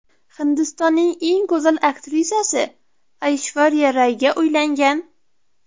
Hindistonning eng go‘zal aktrisasi Ayshvariya Rayga uylangan.